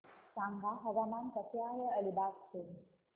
सांगा हवामान कसे आहे अलिबाग चे